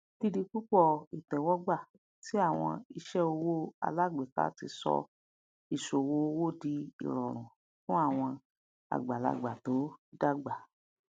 dídipúpọ ìtẹwọgbà ti àwọn iṣẹ owó alágbèéká ti sọ ìṣòwò owó di ìrọrùn fún àwọn àgbàlagbà tó dàgbà